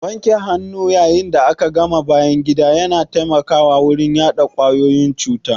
Wanke hannu yayin da aka gama bayan gida ya na taimakawa wurin hana yaɗa kwayoyin cuta.